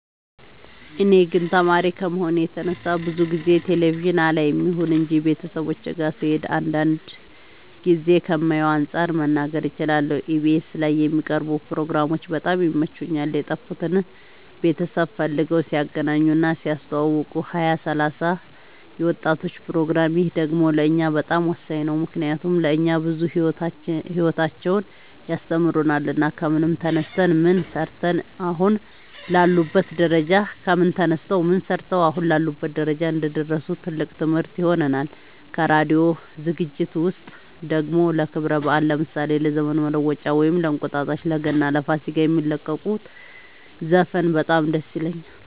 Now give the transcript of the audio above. እኔ ግን ተማሪ ከመሆኔ የተነሳ ብዙ ጊዜ ቴሌቪዥን አላይም ይሁን እንጂ ቤተሰቦቼ ጋ ስሄድ አንዳንድ ጊዜ ከማየው አንፃር መናገር እችላለሁ ኢቢኤስ ላይ የሚቀርቡ ፕሮግራሞች በጣም ይመቹኛል የጠፉትን ቤተሰብ ፈልገው ሲያገናኙ እና ሲያስተዋውቁ ሀያ ሰላሳ የወጣቶች ፕሮግራም ይህ ደግሞ ለእኛ በጣም ወሳኝ ነው ምክንያቱም ለእኛ ብዙ ሂወታቸውን ያስተምሩናል ከምን ተነስተው ምን ሰርተው አሁን ላሉበት ደረጃ እንደደረሱ ትልቅ ትምህርት ይሆነናል ከራዲዮ ዝግጅት ውስጥ ደግሞ ለክብረ በአል ለምሳሌ ለዘመን መለወጫ ወይም እንቁጣጣሽ ለገና ለፋሲካ የሚለቁት ዘፈን በጣም ደስ ይለኛል